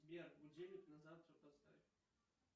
сбер будильник на завтра поставь